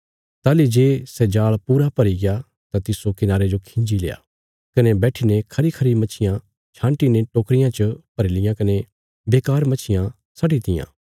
ताहली जे सै जाल़ पूरा भरीग्या तां तिस्सो किनारे जो खिंजील्या कने बैठीने खरीखरी मच्छियां छान्टीने टोकरियां च भरी लियां कने बेकार मच्छियां सट्टीतियां